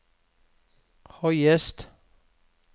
høyest